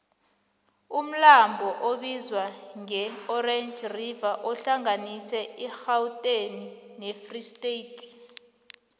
umlambo obizwangeorange river uhlanganisa irhawuteni nefree state